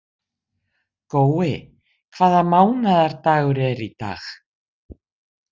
Gói, hvaða mánaðardagur er í dag?